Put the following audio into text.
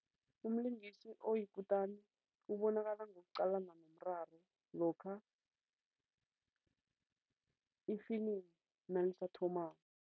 Umlingisi oyikutani ubonakala ngokuqalana nomraro lokha ifilimu nalisathomako.